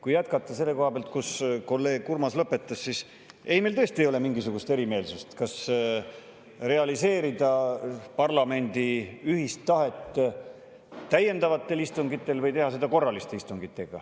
Kui jätkata selle koha pealt, kus kolleeg Urmas lõpetas, siis ei, meil tõesti ei ole mingisugust erimeelsust, kas realiseerida parlamendi ühist tahet täiendavatel istungitel või teha seda korralistel istungitel.